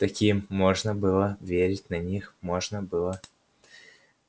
так им можно было верить на них можно было